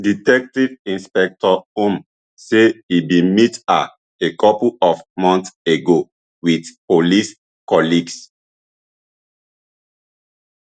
detective inspector um say e bin meet her a couple of months ago wit police colleagues